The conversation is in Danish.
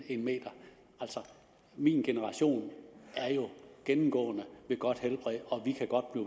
en meter altså min generation er jo gennemgående ved godt helbred og vi kan godt